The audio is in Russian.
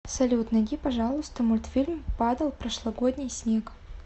салют найди пожалуйста мультфильм падал прошлогодний снег